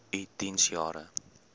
u diens jare